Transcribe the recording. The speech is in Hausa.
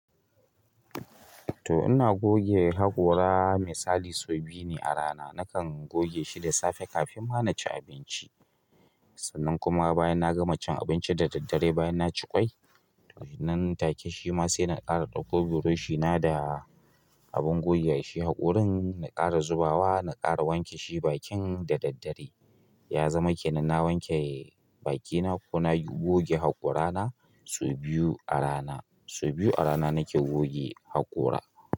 To ina goge haƙora misali sau biyu ne a rana. Nakan goge shi da safe kafin ma na ci abinci. Sannan kuma bayan na gama cin abinci da daddare bayan na ci ƙwai. To nan take shi ma sai na ƙara ɗauko burushi na da abin goge shi haƙorin, na ƙara zubawa, na ƙara wanke shi bakin da daddare. Ya zama ke nan na wanke bakina ko na goge haƙora na sau biyu a rana. Sau biyu a rana nake goge haƙora.